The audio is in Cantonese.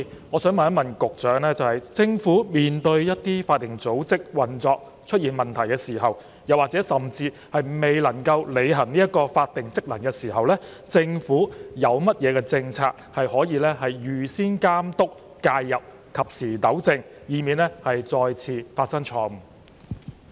我想問局長，當一些法定組織的運作出現問題，甚至未能履行其法定職能的時候，政府有何政策可以預先監督、介入、及時糾正，以免再次出錯？